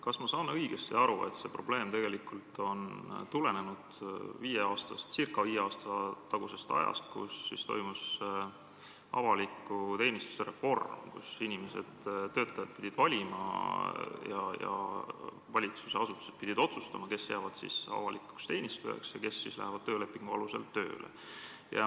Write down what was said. Kas ma saan õigesti aru, et see probleem tegelikult tuleneb ca viie aasta tagusest ajast, kui toimus avaliku teenistuse reform ning inimesed, töötajad, pidid valima ja valitsusasutused pidid otsustama, kes jäävad avalikuks teenistujaks ja kes hakkavad töölepingu alusel tööle?